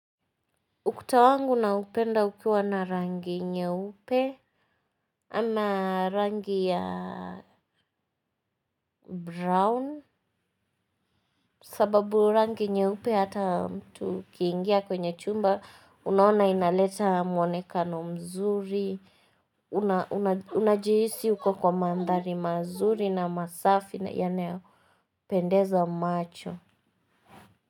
Ukuta wangu naupenda ukiwa na rangi nyeupe. Ama rangi ya brown sababu rangi nyeupe hata mtu ukiingia kwenye chumba unaona inaleta mwonekano mzuri. Unajihisi uko kwa mandhari mazuri na masafi yanayopendeza macho.